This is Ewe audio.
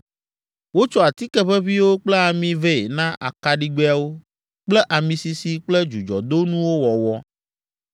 Wotsɔ atike ʋeʋĩwo kple ami vɛ na akaɖigbɛawo kple ami sisi kple dzudzɔdonuwo wɔwɔ.